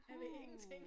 Jeg ved ingenting